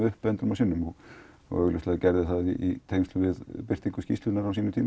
upp endrum og sinnum og gerði það við birtingu skýrslunnar á sínum tíma